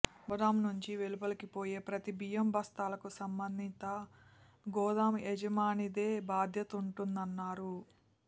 గోదాము నుంచి వెలుపలికి పోయే ప్రతి బియ్యం బస్తాలకు సంబంధిత గోదాము యజమానిదే బాధ్యతంటున్నారు